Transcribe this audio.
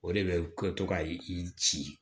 O de bɛ kɛ to ka i ci